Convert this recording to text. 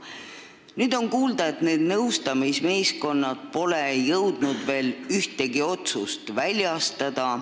Nüüd on kuulda, et need nõustamismeeskonnad pole jõudnud veel ühtegi otsust väljastada.